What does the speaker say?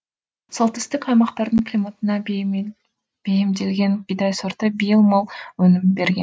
солтүстік аймақтардың климатына бейімделген бидай сорты биыл мол өнім берген